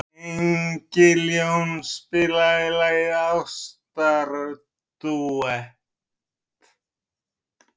Engiljón, spilaðu lagið „Ástardúett“.